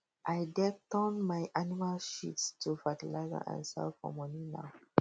i deg turn my animals shit to fertilizer and sell for money now